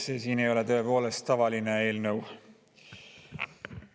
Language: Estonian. See siin ei ole tõepoolest tavaline eelnõu.